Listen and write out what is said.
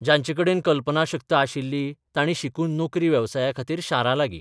जांचे कडेन कल्पनाशक्त आशिल्ली तांणी शिकून नोकरी बेवसायाखातीर शारां लागीं